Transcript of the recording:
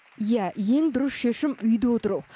иә ең дұрыс шешім үйде отыру